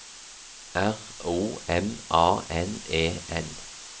R O M A N E N